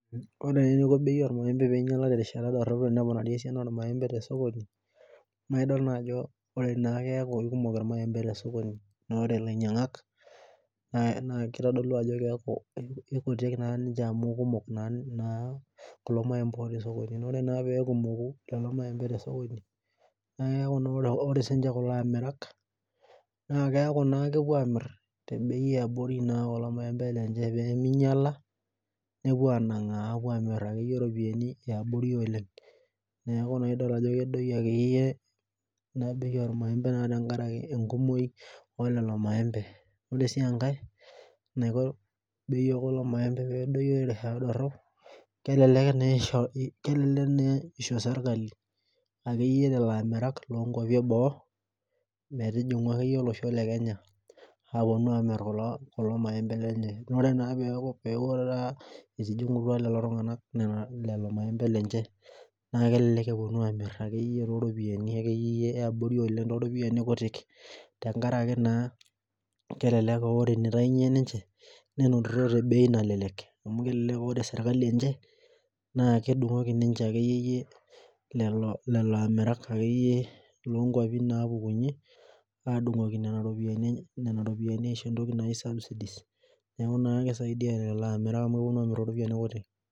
Ore eneiko bei ormaembe peemeinyiaka terishata sapuk naa keing'urari esiana ormaembe tesokoni naa idol naa ajo ore naa keikumok irmaembe tesokoni naa idol naa ajo re ilainyiang'ak keikutik naa ninche amu eikumok naa kulo maiembe too sokoni ore naa peekumoku lelo maimbe tesokoni naa keeku naa ore siininche kulo akirak naa keeku naa kepuo aamir tebei yaabori naa kulo maembe lenye peemeinyiala nepuo anaang'aa amir bei yaabori oleng neeku naa idol ajo kedoyio akeyieyie ina bei ormaembe tenkaraki enkumoi oleelelo maembe ore sii enkai naaiko bei ekulo maembe peesoyio terishata dorop kelelek naa esisho serkali akeyie lelo amerak loonkuapi eboo metujing'u akeyie olosho lekenya aapuonu aamir kulo maembe ore naa peeku retaa etijing'utua lelo tung'anak lelo maembe lenche naa kelelek epuonu aamir akeyie ropiyiani akeyie yie yaabori oleng too ropiyiani kutik tenkaraki naa kelelek aa ore eneitainyie ninche nenotito tebei nalelek amu kelelek aa ore serkali enye naa kedung'oki lelo amirak akeyie loonkuapi naapukunyie aadung'oki iropiyiani naai subsidies neeku naa keisaidia lelo amirak amu kepuonu aamir iropiyiani kutik